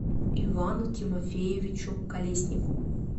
ивану тимофеевичу колеснику